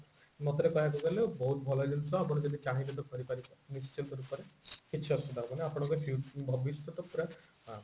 ମୋ ମତରେ କହବାକୁ ଗଲେ ବହୁତ ଭଲ ଜିନିଷ ଆପଣ ଯଦି ଚାହିଁବେ ତ କରି ପାରିବେ ନିଶ୍ଚିନ୍ତ ରୂପରେ କିଛି ଅସୁବିଧା ହେବନି ଆପଣଙ୍କ ଫିଉ ଭବିଷ୍ୟତ ପୁରା